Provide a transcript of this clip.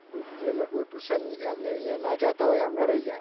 તો જે લોકો એમને અહીં tuition ના જાતા હોય. એમને રહી જાય.